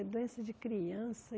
É doença de criança.